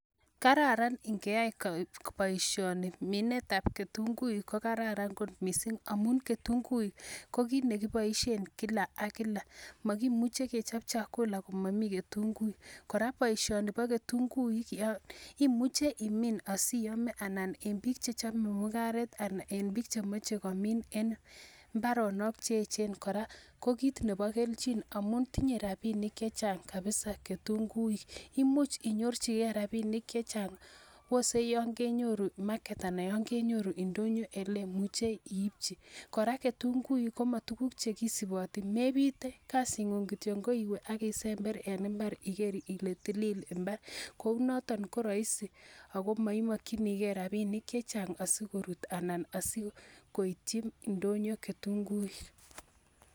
kararan ningeyaai boishoni, mineet ab ketunguik mineet ab ketunguik ko kararan kot mising amuun ketunguik ko kiit negiboishen kila ak kila mogimuche kechob chakula komamii ketunguik, koraa boishoni bo ketunguik imuche imiin osiome anan en biik che chome mungareet anan en biik chechome komiin en imbaronok cheechen koraa ko kiit nebo kelchin omuun tinye rabinik chechang kabiza ketunguik, imuuch inyorchigee rabinik chechang osee yoon kenyoruu market anan yoon kenyoruu indonyo eleemuchee iityi, koraa ketunguik komatuguk chegisuboti mebiite kassit nguun kityo koiwee abesember en imbaar igeer ile tiliil imbaar kouu noton ko roisi ago moimokyinigee rabishek cheechang asigorut anan asigoityii ndonyo ketunguik.